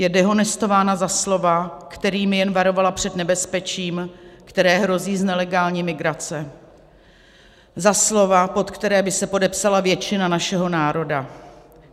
Je dehonestována za slova, kterými jen varovala před nebezpečím, které hrozí z nelegální migrace, za slova, pod která by se podepsala většina našeho národa.